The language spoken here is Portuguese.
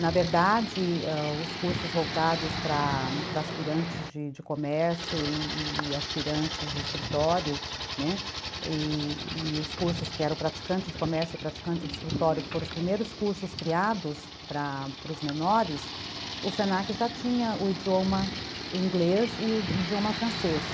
Na verdade, ãh, os cursos voltados para aspirantes de comércio e e aspirantes de escritório, né, e e os cursos que eram praticante de comércio e praticante de escritório, que foram os primeiros cursos criados para para os menores, o se na que já tinha o idioma inglês e o idioma francês.